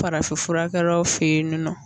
Farafin furakɛlaw fe ye nin nɔ